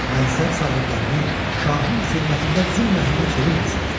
Mənsəb sahiblərini, şahın xidmətində zülm əhlinə çevirməsinlər.